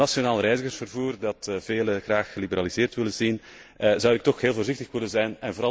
Voor het nationaal reizigersvervoer, dat velen graag geliberaliseerd willen zien, wil ik toch heel voorzichtig zijn.